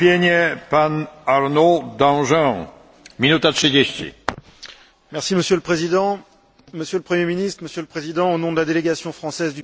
Monsieur le Président, Monsieur le Premier ministre, Monsieur le Président, au nom de la délégation française du groupe du PPE, je voulais vous féliciter pour la présentation de ce programme très ambitieux.